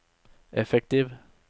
effektiv